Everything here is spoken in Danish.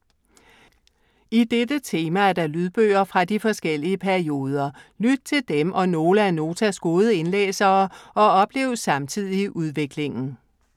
I dette tema er der lydbøger fra de forskellige perioder. Lyt til dem og nogle af Notas gode indlæsere og oplev samtidig udviklingen.